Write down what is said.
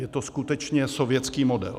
Je to skutečně sovětský model.